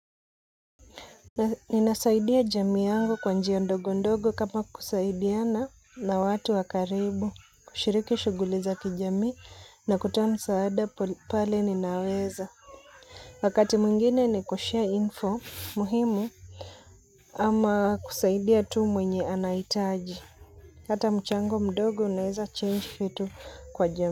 Ninasaidia jamii yangu kwa njia ndogo ndogo kama kusaidiana na watu wakaribu, kushiriki shuguli za kijamii na kutoa msaada pale ninaweza. Wakati mwingine ni kushare info muhimu ama kusaidia tu mwenye anahitaji. Hata mchango mdogo unaweza change vitu kwa jamii.